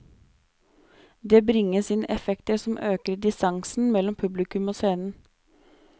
Det bringes inn effekter som øker distansen mellom publikum og scenen.